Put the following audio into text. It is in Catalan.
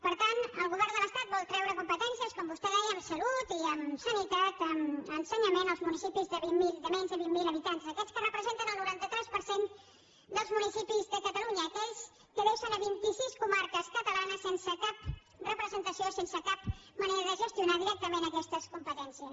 per tant el govern de l’estat vol treure competències com vostè deia en salut en sanitat i en ensenyament als municipis de menys de vint mil habitants a aquests que representen el noranta tres per cent dels municipis de catalunya a aquells que deixen vint i sis comarques catalanes sense cap representació i sense cap manera de gestionar directament aquestes competències